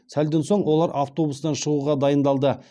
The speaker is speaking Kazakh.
сәлден соң олар автобустан шығуға дайындалды